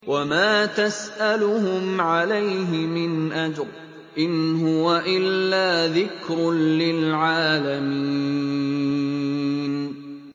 وَمَا تَسْأَلُهُمْ عَلَيْهِ مِنْ أَجْرٍ ۚ إِنْ هُوَ إِلَّا ذِكْرٌ لِّلْعَالَمِينَ